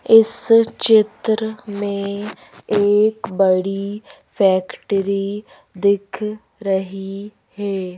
इस चित्र में एक बड़ी फैक्ट्री दिख रही है।